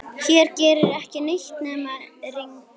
Hér gerir ekkert nema rigna.